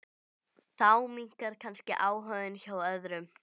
Þá minnkar kannski áhuginn hjá öðrum.